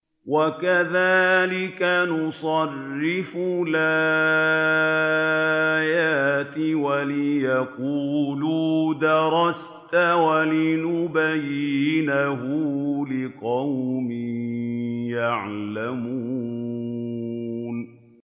وَكَذَٰلِكَ نُصَرِّفُ الْآيَاتِ وَلِيَقُولُوا دَرَسْتَ وَلِنُبَيِّنَهُ لِقَوْمٍ يَعْلَمُونَ